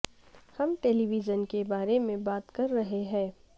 ہم television کے بارے میں بات کر رہے ہیں